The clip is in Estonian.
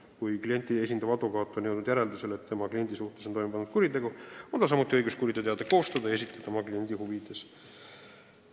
Kui klienti esindav advokaat on jõudnud järeldusele, et tema kliendi suhtes on toime pandud kuritegu, on tal samuti õigus kuriteoteade koostada ja esitada see oma kliendi huvides, kellele vaja.